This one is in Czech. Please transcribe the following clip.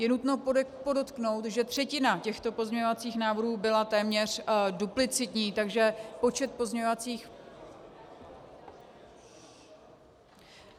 Je nutno podotknout, že třetina těchto pozměňovacích návrhů byla téměř duplicitní, takže počet pozměňovacích...